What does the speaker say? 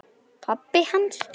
Pabbi hans?